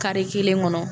Kari kelen kɔnɔ